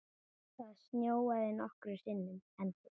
Það snjóaði nokkrum sinnum.